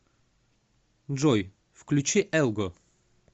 джой включи элго